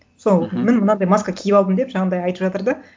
сол міні мынандай маска киіп алдым деп жаңағындай айтып жатыр да